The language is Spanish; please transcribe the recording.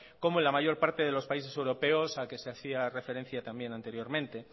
como en la mayor parte de los países europeos al que se hacía referencia también anteriormente